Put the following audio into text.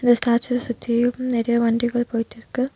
இந்த ஸ்டாச்சு சுத்தியும் நெறைய வண்டிகள் போயிட்ருக்கு.